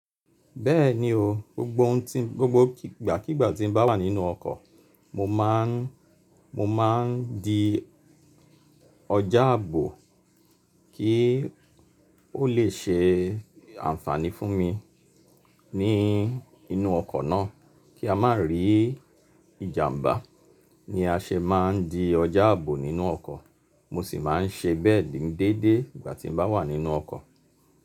Bẹ́ẹ̀ni o, gbogbo ohun tí, gbogbo ígba kígba tí n bá wà nínú ọkọ̀, mo máa n, mo máa n di ọjà ààbò kí o le ṣe ànfàní fún mi ní inú ọkọ̀ náà kí a má rí ìjàmbá ni a ṣe máa n di ọjà ààbò nínú ọkọ̀. Mo sì máa n ṣe bẹ́ẹ̀ déédéé ìgbà tí n bá wà nínú ọkọ̀